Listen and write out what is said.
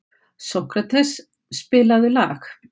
Sókrates, spilaðu lag.